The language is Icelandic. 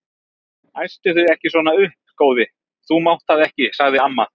Æstu þig ekki svona upp góði, þú mátt það ekki sagði amma.